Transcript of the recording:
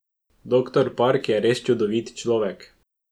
Doktor Park je res čudovit človek.